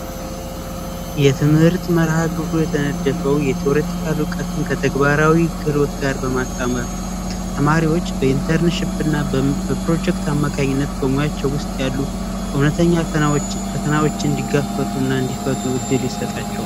የትምህርት መርሐ ግብሩ የተነደፈው እውቀትን ከተግባራዊ ክልሎች ጋር በማታመሪዎች በኢንተርኔት ሽብና በፕሮጀክት አማካኝነት በሙያቸው ውስጥ ያሉ እውነተኛዎችን ድጋፍና እንዲፈቱ እድል ይሰጣቸል